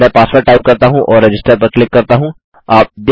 मैं password type करता हूँ और रजिस्टर पर क्लिक करता हूँ